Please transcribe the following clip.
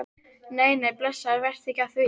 Nei, nei, blessaður, vertu ekki að því.